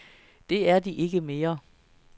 Det er de ikke mere.